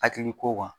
Hakili ko kan